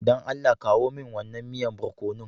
Dan Allah kawo min wannan miyan borkonon.